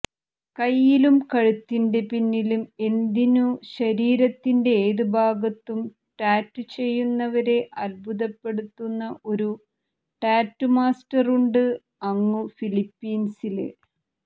കയ്യിലും കഴുത്തിന്റെ പിന്നിലും എന്തിനു ശരീരത്തിന്റെ ഏത് ഭാഗത്തും ടാറ്റു ചെയ്യുന്നവരെ അത്ഭുതപ്പെടുത്തുന്ന ഒരു ടാറ്റു മാസ്റ്ററുണ്ട് അങ്ങു ഫിലിപ്പിന്സില്